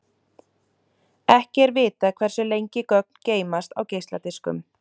Ekki er vitað hversu lengi gögn geymast á geisladiskum.